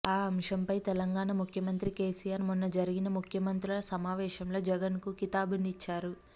ఈ అంశం పై తెలంగాణ ముఖ్యమంత్రి కేసీఆర్ మొన్న జరిగిన ముఖ్యమంత్రుల సమావేశంలో జగన్ కు కితాబునిచ్చారు